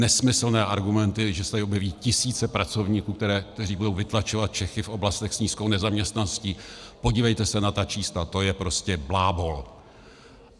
Nesmyslné argumenty, že se tady objeví tisíce pracovníků, kteří budou vytlačovat Čechy v oblastech s nízkou nezaměstnaností - podívejte se na ta čísla, to je prostě blábol.